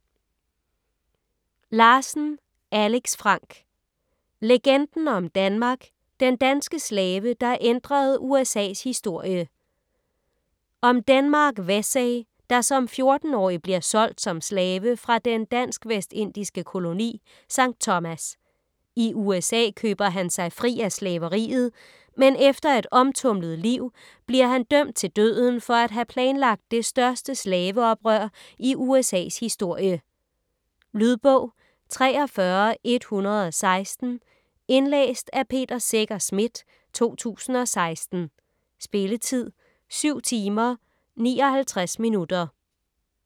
Larsen, Alex Frank: Legenden om Denmark: den danske slave der ændrede USA's historie Om Denmark Vesey, der som 14-årig bliver solgt som slave fra den dansk-vestindiske koloni Sankt Thomas. I USA køber han sig fri af slaveriet, men efter et omtumlet liv bliver han dømt til døden for at have planlagt det største slaveoprør i USAs historie. Lydbog 43116 Indlæst af Peter Secher Schmidt, 2016. Spilletid: 7 timer, 59 minutter.